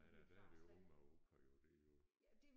Nej der der er det jo Oma og Opa jo det jo